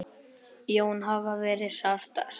Jóns afa verður sárt saknað.